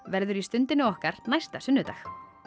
verður í Stundinni okkar næsta sunnudag